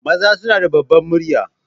Maza suna da ɓabbar murya.